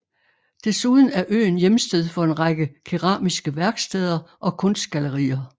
Desuden er øen hjemsted for en række keramiske værksteder og kunstgallerier